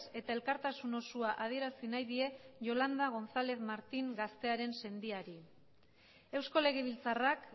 eta elkartasun osoa adierazi nahi die yolanda gonzález martín gaztearen sendiari eusko legebiltzarrak